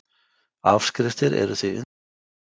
Afskriftir eru því undanskildar